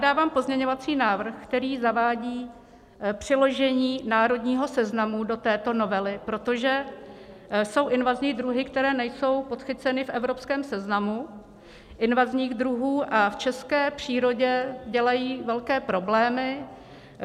Dávám pozměňovací návrh, který zavádí přiložení národního seznamu do této novely, protože jsou invazní druhy, které nejsou podchyceny v evropském seznamu invazních druhů a v české přírodě dělají velké problémy.